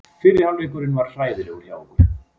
Fyrri hálfleikurinn var hræðilegur hjá okkur.